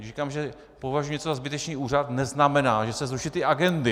Když říkám, že považuji něco za zbytečný úřad, neznamená, že se zruší ty agendy.